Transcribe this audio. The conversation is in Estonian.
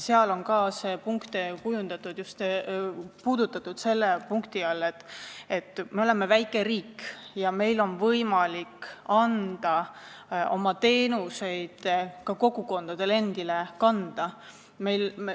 Seal on ka neid aspekte puudutatud selle punkti all, et me oleme väike riik ja meil on võimalik oma teenuseid ka kogukondade endi kanda anda.